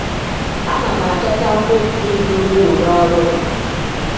Ana m achọta afọ ojuju dị ukwuu n’ọrụ m.